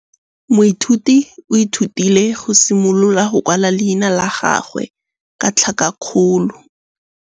Moithuti o ithutile go simolola go kwala leina la gagwe ka tlhakakgolo.